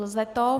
Lze to.